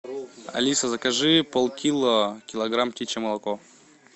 алиса закажи полкило килограмм птичье молоко